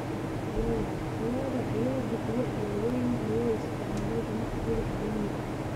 Lo'da lo'da ayaa bixiya alaabooyinka loo isticmaalo ganacsiga caalamiga ah.